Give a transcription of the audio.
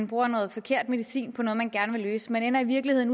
bruger noget forkert medicin på noget man gerne vil løse man ender i virkeligheden